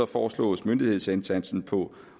foreslås myndighedsindsatsen på